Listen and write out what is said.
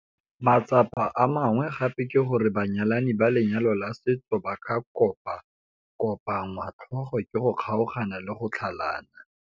Matsapa a mangwe gape ke gore banyalani ba lenyalo la setso ba kopakopanngwa tlhogo ke go kgaogana le go tlhalana.